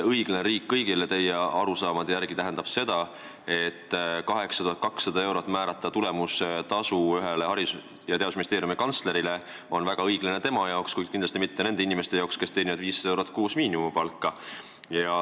"Õiglane riik kõigile" tähendab teie arusaamade järgi ka seda, et 8200-eurose tulemustasu määramine ühele Haridus- ja Teadusministeeriumi kantslerile on väga õiglane tema jaoks, kuid kindlasti mitte nende inimeste jaoks, kes teenivad kuus 500 eurot miinimumpalka.